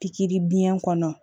Pikiri biɲɛ kɔnɔ